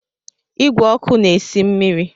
Igwe ọkụ na esi mmiri